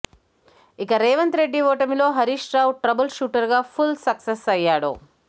ఇక రేవంత్ రెడ్డి ఓటమిలో Harish Rao trouble shooter గా ఫుల్ సక్సెస్ అయ్యాడు